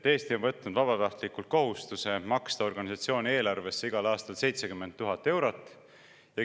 Eesti on võtnud vabatahtlikult kohustuse maksta organisatsiooni eelarvesse igal aastal 70 000 eurot.